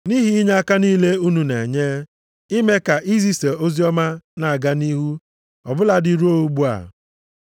Nʼihi inyeaka niile unu na-enye, ime ka izisa oziọma na-aga nʼihu ọ bụladị ruo ugbu a.